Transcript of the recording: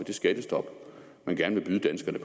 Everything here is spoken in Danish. det skattestop man gerne vil byde danskerne